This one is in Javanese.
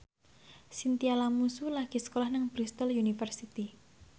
Chintya Lamusu lagi sekolah nang Bristol university